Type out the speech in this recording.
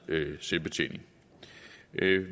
med selvbetjening